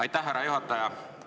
Aitäh, härra juhataja!